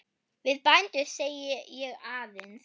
Við bændur segi ég aðeins.